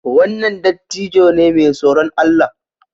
Wannan dattijo ne mai tsoron Allah